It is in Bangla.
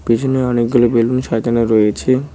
পেছনে অনেকগুলো বেলুন সাজানো রয়েছে।